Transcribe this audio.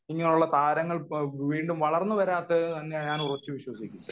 ഇങ്ങനെയുള്ള താരങ്ങൾ വളർന്നു വരാത്തത് എന്ന് ഞാൻ ഉറച്ചു വിശ്വസിക്കുന്നു